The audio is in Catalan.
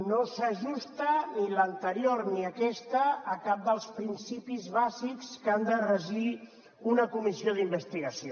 no s’ajusten ni l’anterior ni aquesta a cap dels principis bàsics que han de regir una comissió d’investigació